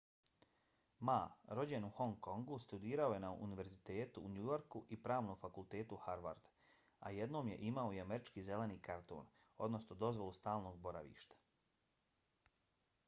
ma rođen u hong kongu studirao je na univerzitetu u new yorku i pravnom fakultetu harvard a jednom je imao i američki zeleni karton odnosno dozvolu stalnog boravka